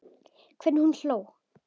Hvernig hún hló.